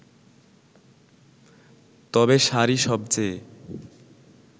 তবে শাড়ি সবচেয়ে